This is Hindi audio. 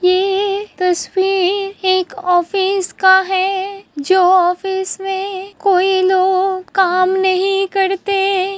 ये तस्वीर एक ऑफिस का है जो ऑफिस में कोई लोग काम नहीं करते --